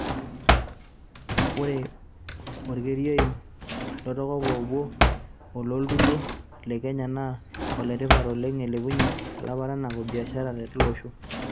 Ore orekia oim latotok oopuo oloontoluo le Kenya naa oletipat oleng eilepunye laparanak o biashara teilo osho.